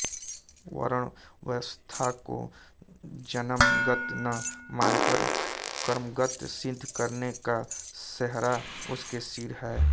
वर्ण व्यवस्था को जन्मगत न मानकर कर्मगत सिद्ध करने का सेहरा उसके सिर है